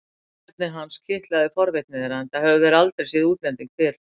Þjóðerni hans kitlaði forvitni þeirra enda höfðu þau aldrei séð útlending fyrr.